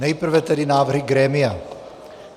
Nejprve tedy návrh grémia.